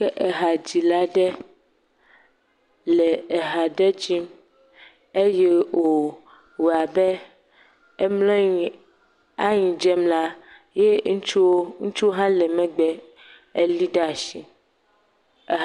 Ke ehadzila aɖe le eha ɖe dzim eye wòwɔ abe emlɔ anyi aanyi dzem la, ye ŋutsuwo, ŋutsuwo hã le megbe elii ɖa ashi.